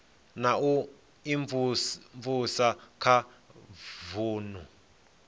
na u imvumvusa kha vunu